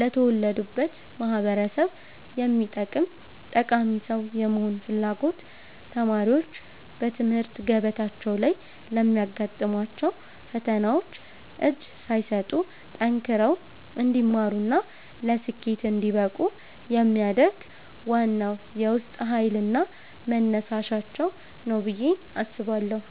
ለተወለዱበት ማኅበረሰብ የሚጠቅም ጠቃሚ ሰው የመሆን ፍላጎት ተማሪዎች በትምህርት ገበታቸው ላይ ለሚያጋጥሟቸው ፈተናዎች እጅ ሳይሰጡ ጠንክረው እንዲማሩና ለስኬት እንዲበቁ የሚያደርግ ዋናው የውስጥ ኃይልና መነሳሻቸው ነው ብዬ አስባለሁ።